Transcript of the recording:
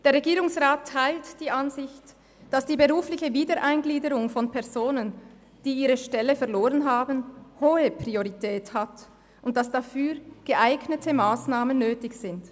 Der Regierungsrat teilt die Ansicht, dass die berufliche Wiedereingliederung von Personen, die ihre Stelle verloren haben, hohe Priorität hat, und dass dafür geeignete Massnahmen nötig sind.